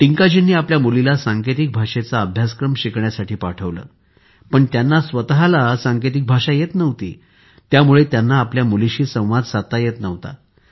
टिंकाजींनी आपल्या मुलीला सांकेतिक भाषेचा अभ्यासक्रम शिकण्यासाठी पाठवले पण त्यांना स्वतःला सांकेतिक भाषा येत नव्हती त्यामुळे त्यांना आपल्या मुलीशी संवाद साधता येत नव्हता